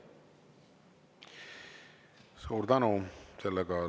Suur tänu!